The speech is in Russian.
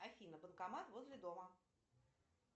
афина банкомат возле дома